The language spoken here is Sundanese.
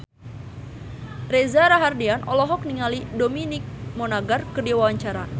Reza Rahardian olohok ningali Dominic Monaghan keur diwawancara